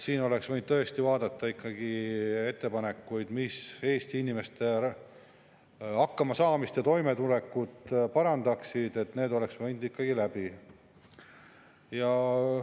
Siin oleks võinud tõesti vaadata ikkagi ettepanekuid, mis Eesti inimeste hakkamasaamist ja toimetulekut parandaksid, need oleks võinud ikkagi läbi.